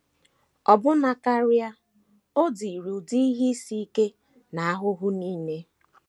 Ọbụna karị, o diri ụdị ihe isi ike na ahụhụ nile.